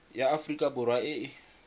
ya aforika borwa e e